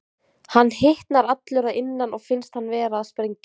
Hann hitnar allur að innan og finnst hann vera að springa.